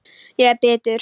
Ég er bitur.